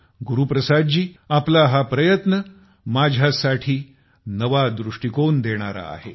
गुरु प्रसाद जी आपला हा प्रयत्न माझ्यासाठी नवा दृष्टीकोन देणारा आहे